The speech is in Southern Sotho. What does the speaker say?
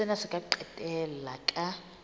sena se ka qetella ka